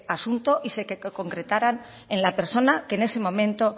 asunto y que se concretaran en la persona que en ese momento